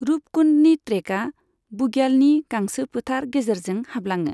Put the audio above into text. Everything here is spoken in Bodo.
रूपकुन्डनि ट्रेकआ बुग्यालनि गांसोफोथार गेजेरजों हाबलाङो।